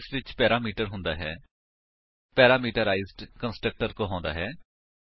org parameterised constructor ਕੀ ਹੈ160 constructor ਜਿਸ ਵਿੱਚ ਪੈਰਾਮੀਟਰ ਹੁੰਦਾ ਹੈ ਪੈਰਾਮੀਟਰਾਈਜ਼ਡ ਕੰਸਟਰਕਟਰ ਕਹਾਉਂਦਾ ਹੈ